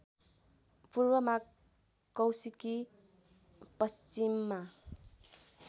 पूर्वमा कौशिकि पश्चिममा